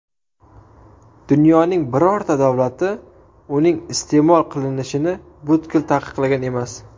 Dunyoning birorta davlati uning iste’mol qilinishini butkul taqiqlagan emas.